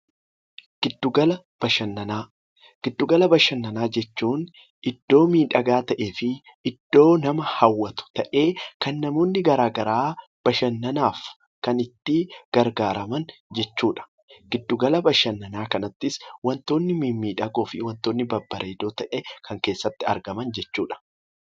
Giddu gala bashannanaa jechuun iddoo miidhagaa ta'ee fi iddoo nama hawwatu ta'ee kan namoonni garaa garaa bashannanaaf kan itti gargaaraman jechuudha. Giddu gala bashannanaa kanattis wantoonni mimmiidhagoo fi babbareedoo ta'an kan keessatti argaman jechuudha.